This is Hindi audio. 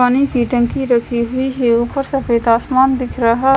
पानी की टंकी राखी हुई है ऊपर सफ़ेद आसमान दिख रहा--